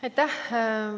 Aitäh!